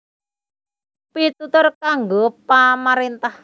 Pitutur kanggo pamaréntah